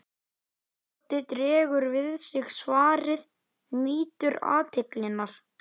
Doddi dregur við sig svarið, nýtur athyglinnar.